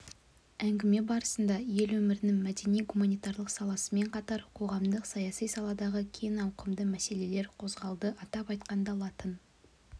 әңгіме барысында ел өмірінің мәдени-гуманитарлық саласымен қатар қоғамдық-саяси саладағы кең ауқымды мәселелер қозғалды атап айтқанда латын